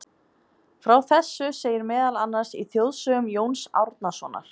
Frá þessu segir meðal annars í þjóðsögum Jóns Árnasonar.